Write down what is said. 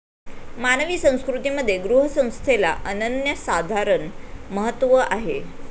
मानवी संस्कृतीमध्ये गृहस्थंस्थेला अनन्यसाधारण महत्व आहे.